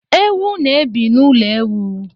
Ewu na ebi na ụlọ ewu